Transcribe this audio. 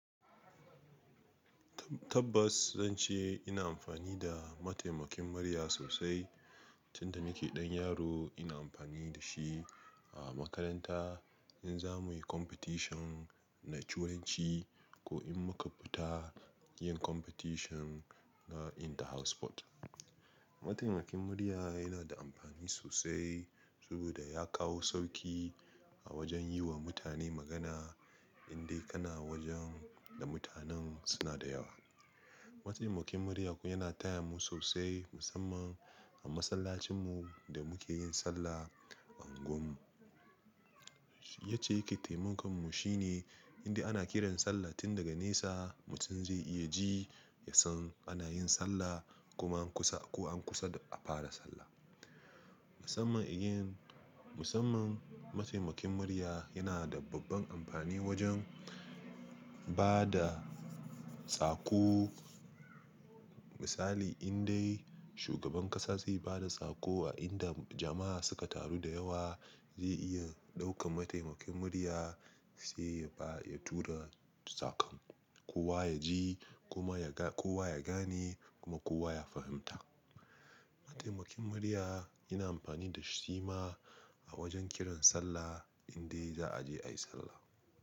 Tabbas zan ce ina amfani da mataimakin murya sosai. Tun da nake ɗan yaro ina amfani da shi a makaranta in za muyi competition na turanci ko in muka fita yin competition na inter house sport. Mataimakin murya yana da amfani sosai saboda ya kawo sauƙi a wajen yi wa mutane magana indai kana wajen da mutanen suna da yawa. Mataimakin murya fa yana taya mu sosai musamman a masallacin mu da muke yin sallah a unguwar mu. Yacce yake taimakon mu shine indai ana kiran sallah tun daga nesa mutum zai iya ji, ya san ana yin sallah kuma an kusa ko an kusa a fara sallah. Musamman again, musamman mataimakin murya yana da babban amfani wajen bada sako. Misali indai shugaban ƙasa zai bada sako a inda jama'a suka taru da yawa zai iya ɗaukan mataimakin murya sai ya tura sakon. Kowa ya ji kuma kowa ya gane kuma kowa ya fahimta. Mataimakin murya ina amfani da shi ma a wajen kiran sallah indai za'a je ayi sallah.